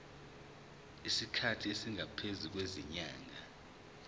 isikhathi esingaphezulu kwezinyanga